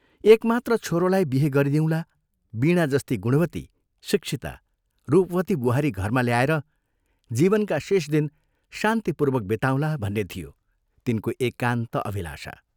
एकमात्र छोरोलाई बिहे गरिदिउँला वीणा जस्ती गुणवती, शिक्षिता, रूपवती बुहारी घरमा ल्याएर जीवनका शेष दिन शान्तिपूर्वक बिताउँला भन्ने थियो तिनको एकान्त अभिलाषा।